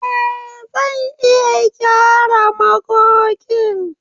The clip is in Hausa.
Eh! Zan iya gyara magogin.